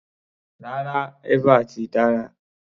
Rárá, eva ti dára.